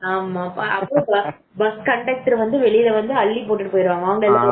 அப்போ bus conductor வெளியே வந்து அள்ளிப்போட்டு போயிருவாரு